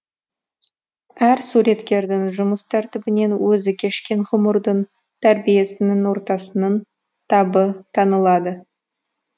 әр суреткердің жұмыс тәртібінен өзі кешкен ғұмырдың тәрбиесінің ортасының табы танылады